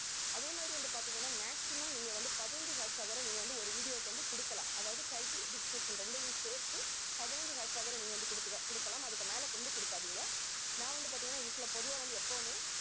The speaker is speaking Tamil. அதே மாதிரி வந்து பார்த்தீங்கன்னா maximum நீங்க வந்து பதினஞ்சு hashtag வரை நீங்க வந்து ஒரு video க்கு வந்து கொடுக்கலாம். அதாவது title description இரண்டையும் சேர்த்து பதினஞ்சு hashtag கூட நீங்க வந்து கொடுத்துக்க~ கொடுக்கலாம். அதுக்கு மேல கொண்டு கொடுக்காதீங்க. நான் வந்து பார்த்தீங்கன்னா usual ஆ பொதுவா வந்து எப்பவுமே